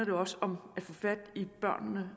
jo også om at få fat i børnene